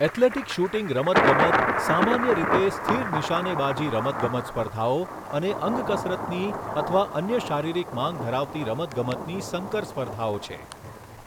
Athletic shooting રમતગમત સામાન્ય રીતે સ્થિર નિશાનેબાજી રમતગમત સ્પર્ધાઓ અને અંગકસરતની અથવા અન્ય શારીરિક માંગ ધરાવતી રમતગમતની સંકર સ્પર્ધાઓ છે.